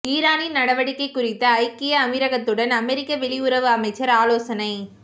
ஈரானின் நடவடிக்கை குறித்து ஐக்கிய அமீரகத்துடன் அமெரிக்க வெளியுறவு அமைச்சர் ஆலோசனை